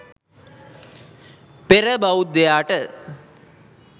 පෙර බෞද්ධයාට